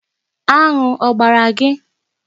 Aṅụ ọ gbara gị?